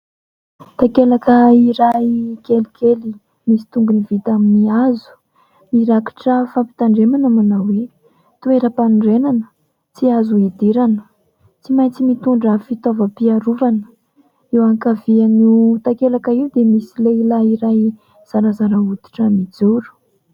Takelaka iray kelikely misy tongony vita amin'ny hazo, mirakitra fampitandremana manao hoe "toeram-panorenana tsy azo hidirana", "tsy maintsy mitondra fitaovam-piarovana". Eo ankavian'io takelaka io dia misy lehilahy iray zarazara hotitra mijoro.